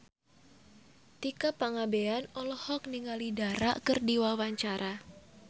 Tika Pangabean olohok ningali Dara keur diwawancara